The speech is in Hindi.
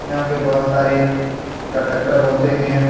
यहाँ पे बहुत सारे कंडक्टर होते हैं।